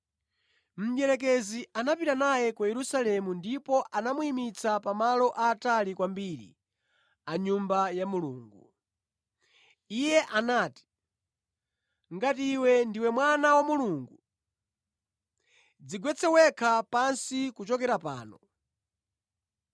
Mdierekezi anapita naye ku Yerusalemu namuyimiritsa pamwamba penipeni pa Nyumba ya Mulungu. Ndipo anati, “Ngati ndinu Mwana wa Mulungu dziponyeni nokha pansi kuchokera pano.